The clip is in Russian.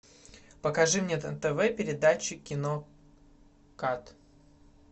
покажи мне на тв передачу кино кат